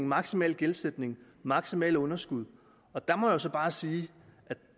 maksimal gældsætning maksimalt underskud der må jeg så bare sige